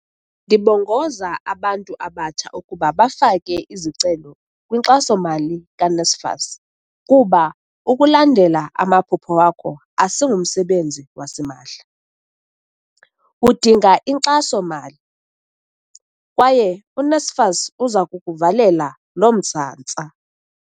"Ndibongoza abantu abatsha ukuba bafake izicelo kwinkxaso-mali ka-NSFAS kuba ukulandela amaphupha wakho asingumsebenzi wasimahla, udinga inkxaso-mali, kwaye u-NSFAS uza kukuvalela lo msantsa."